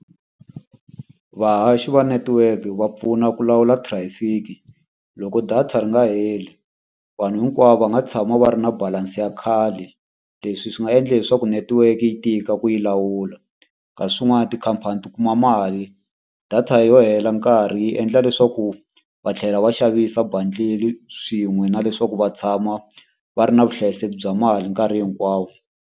Vahaxi va network va pfuna ku lawula traffic. Loko data ri nga heli, vanhu hinkwavo va nga tshama va ri na balance ya khale. Leswi swi nga endla leswaku network yi tika ku yi lawula. Kasi swin'wana tikhampani ti kuma mali, data yo hela nkarhi yi endla leswaku va tlhela va xavisa bundle-i swin'we na leswaku va tshama va ri na vuhlayiseki bya mali nkarhi hinkwawo.